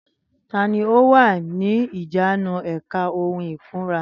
Tani ó wà ní ìjánu èka ohun ìkunra?